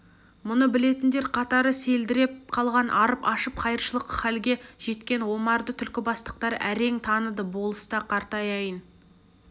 мұны білетіндер қатары селдіреп қалған арып-ашып қайыршылық халге жеткен омарды түлкібастықтар әрең таныды болыс та қартаяйын